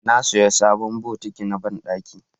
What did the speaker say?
na saya sabon bokiti na banɗaki